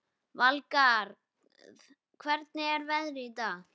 Valgarð, hvernig er veðrið í dag?